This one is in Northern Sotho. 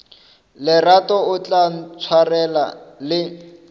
lerato o tla ntshwarela le